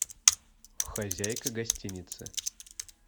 хозяйка гостиницы